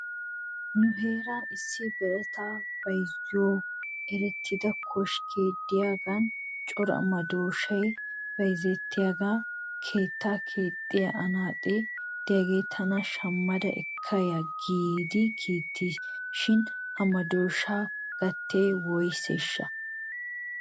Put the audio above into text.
Nu heeran issi birataa bayzuwan erettida koskkee de'iyaagan cora madooshay bayzettiyaagan keettaa keexxiyaa anaaxe diyaagee tana shamada ekkada ya giidi kiitis shin he madooshaa gatee woyseeshsha?